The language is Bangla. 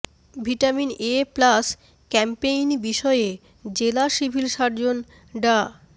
ভিটামিন এ প্লাস ক্যাম্পেইন বিষয়ে জেলা সিভিল সার্জন ডা